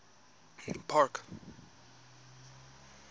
park